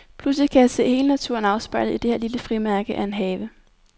Pludselig kan jeg se hele naturen afspejlet i det her lille frimærke af en have.